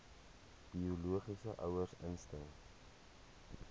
biologiese ouers instem